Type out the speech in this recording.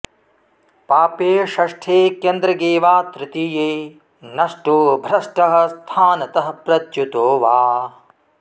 पापे षष्ठे केन्द्रगे वा तृतीये नष्टो भ्रष्टः स्थानतः प्रच्युतो वा